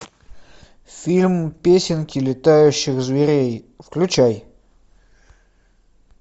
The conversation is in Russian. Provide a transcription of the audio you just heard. фильм песенки летающих зверей включай